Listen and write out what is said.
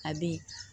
A be